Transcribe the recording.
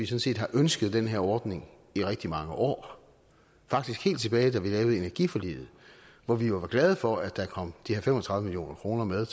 set har ønsket den her ordning i rigtig mange år faktisk helt tilbage da vi lavede energiforliget hvor vi jo var glade for at der kom de her fem og tredive million kroner med